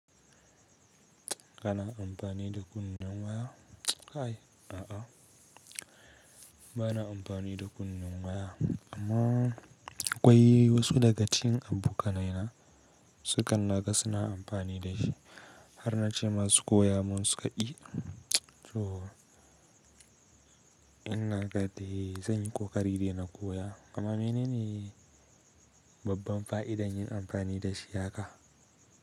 Kana amfani da kunnun waya? Kai a'a, ba na amfani da kunnun waya amma akwai wasu daga cikin abokanai na su kan naga suna amfani da shi har na ce masu koya mun su ka ki. So ina naga dai zan yi ƙoƙari dai na koya amma mene ne babban fa'ida yin amfani da shi haka?